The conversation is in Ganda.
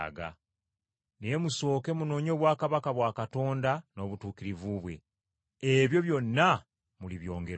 Naye musooke munoonye obwakabaka bwa Katonda n’obutuukirivu bwe, ebyo byonna mulibyongerwako.